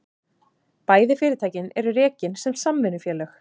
Bæði fyrirtækin eru rekin sem samvinnufélög